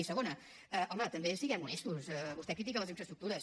i segona home també siguem honestos vostè critica les infraestructures